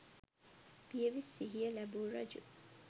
පියවි සිහිය ලැබූ රජු